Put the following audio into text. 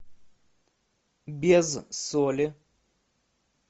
без соли